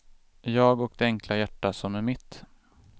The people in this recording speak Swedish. Jag och det enkla hjärta som är mitt.